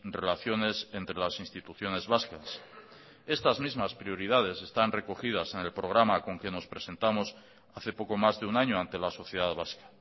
relaciones entre las instituciones vascas estas mismas prioridades están recogidas en el programa con que nos presentamos hace poco más de un año ante la sociedad vasca